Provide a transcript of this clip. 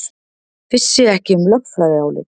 Vissi ekki um lögfræðiálit